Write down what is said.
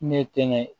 Ne ye tɛŋɛ